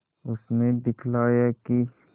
उसने दिखलाया कि